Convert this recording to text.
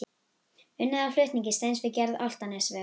Unnið að flutning steins við gerð Álftanesvegar.